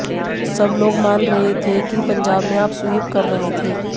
सब लोग मान रहे थे कि पंजाब में आप स्वीप कर रही है